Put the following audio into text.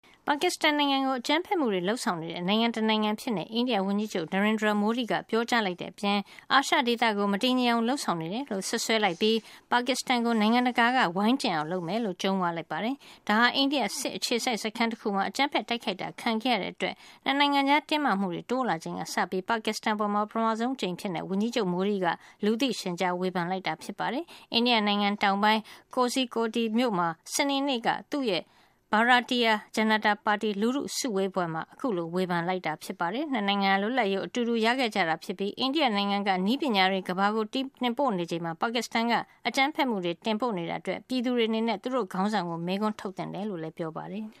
ပါကစ္စတန် နိုင်ငံကို အကြမ်းဖက်မှုတွေ လုပ်ဆောင်နေတဲ့ နိုင်ငံတနိုင်ငံ အဖြစ် အိန္ဒိယ ဝန်ကြီးချုပ် Narendra Modi က ပြောကြားလိုက်တဲ့ အပြင် အာရှဒေသကို မတည်ငြိမ်အောင် လုပ်ဆောင်နေ တယ်လို့ စွပ်စွဲလိုက်ပြီး ပါကစ္စတန် ကို နိုင်ငံတကာက ဝိုင်းကျဉ်အောင် လုပ်မယ်လို့ ကြုံးဝါး လိုက်ပါတယ်။ ဒါဟာ အိန္ဒိယ စစ်အခြေစိုက် စခန်းတခုမှာ အကြမ်းဖက် တိုက်ခိုက်တာ ခံရတဲ့အတွက် ၂ နိုင်ငံကြား တင်းမာမှုတွေ တိုးလာ ချိန်ကစပြီး ပါကစ္စတန် အပေါ် ပထမဆုံးအဖြစ် ဝန်ကြီးချုပ် Modi က လူသိရှင်ကြား ဝေဖန်လိုက်တာဖြစ်ပါတယ်။ အိန္ဒိယနိုင်ငံတောင်ပိုင်း Kozhikode မြို့မှာ စနေနေ့ သူ့ရဲ့ Bharatiya Janata ပါတီ လူထုစုဝေးပွဲမှာ အခုလို ဝေဖန် လိုက်တာဖြစ်ပါတယ်။ ၂ နိုင်ငံဟာ လွတ်လပ်ရေး ကို အတူတူ ရခဲ့ကြတာ ဖြစ်ပြီး၊ အိန္ဒိယ နိုင်ငံက နည်းပညာ software တွေ ကမ္ဘာကို တင်ပို့နေချိန်မှာ ပါကစ္စတန်က အကြမ်းဖက်မှုတွေ တင်ပို့နေတာအတွက် ပါကစ္စတန် ပြည်သူတွေ အနေနဲ့ သူတို့ရဲ့ ခေါင်းဆောင်ကို မေးခွန်းတွေ ထုတ်သင့်တယ်လို့လည်း ပြောပါတယ်။